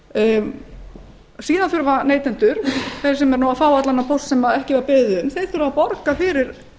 póst síðan þurfa neytendur sem fá allan þennan póst sem ekki var beðið um að borga fyrir